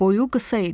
Boyu qısa idi.